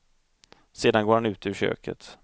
Sedan går han ut ur köket.